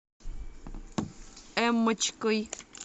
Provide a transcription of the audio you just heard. эммочкой